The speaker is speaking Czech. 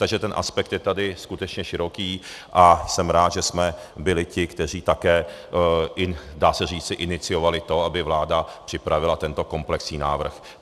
Takže ten aspekt je tady skutečně široký a jsem rád, že jsme byli ti, kteří také, dá se říci, iniciovali to, aby vláda připravila tento komplexní návrh.